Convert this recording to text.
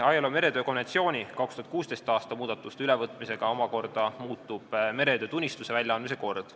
ILO meretöö konventsiooni 2016. aasta muudatuste ülevõtmisega muutub omakorda meretöötunnistuse väljaandmise kord.